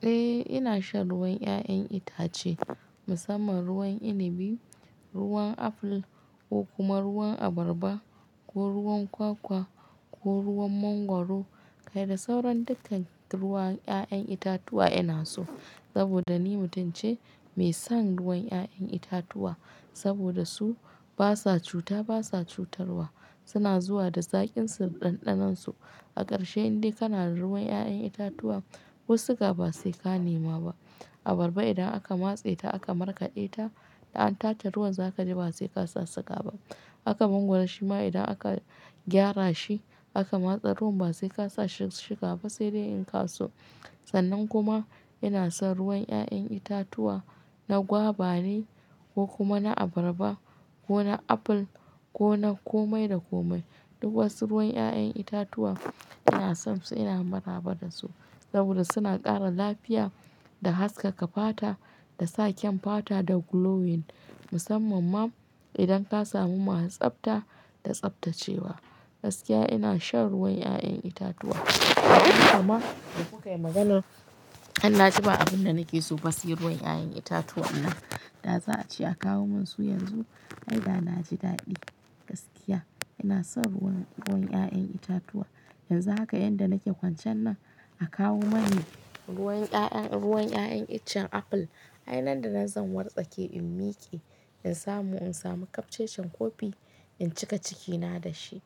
Eh ina shan ruwan 'ya'yan itace musamman ruwan inibi, ruwan aful ko kuma ruwan abarba ko ruwan kwakwa ko ruwan mangwaro. Kai da sauran dukkan ruwan 'ya'yan itatuwa ina so. Saboda ni mutum ce mai son ruwan 'ya'yan itatuwa saboda su basa cuta, basa cutarwa. Suna zuwa da zaƙinsu, da ɗanɗanon su. A ƙarshe indai kana da ruwan 'ya'yan itatuwa, ko siga ba sai ka nema ba. Abarba idan aka matse ta aka markaɗe ta, an tatare ruwan za ka ji ba sai ka sa suga ba. Haka mangwaro shi ma idan aka gyara shi aka matsa ruwan ba sai ka sa shuga ba sai dai in ka so. Sannan kuma ina son ruwan 'ya'yan itatuwa na gwaba ne ko kuma na abarba ko na aful ko na komai da komai. Duk wasu ruwan 'ya'yan itatuwa ina son su ina maraba da su saboda suna ƙara lafiya da haskaka fata da sa kyan fata da glowing musamman ma idan ka samu masu tsabta da tsabtacewa. Gaskiya ina shan ruwan 'ya'yan itatuwa. Amma da kuka yi magana, an na ji ba abin da nake so ba shi ruwan 'ya'yan itatuwan nan. Da za a ce a kawo min su yanzu, ai da na ji daɗi. Gaskiya ina son ruwan 'ya'yan itatuwa. Yanzu haka yanda nake kwancan nan a kawo mani ruwan 'ya'yan icen aful. Ai nan da zan wartsake in miƙe in samu in sami kafcece kopi in cika cikina da shi.